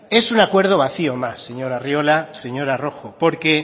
es un acuerdo vacío más señor arriola señora roja porque